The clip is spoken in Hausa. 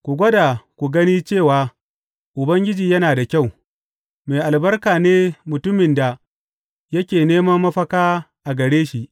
Ku gwada ku gani cewa Ubangiji yana da kyau; mai albarka ne mutumin da yake neman mafaka a gare shi.